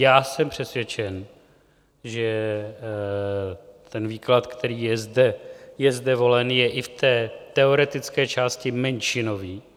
Já jsem přesvědčen, že ten výklad, který je zde volen, je i v té teoretické části menšinový.